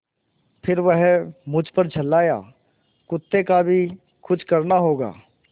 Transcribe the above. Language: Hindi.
फिर वह मुझ पर झल्लाया कुत्ते का भी कुछ करना होगा